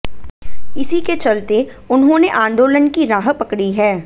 इसी के चलते उन्होंने आंदोलन की राह पकड़ी है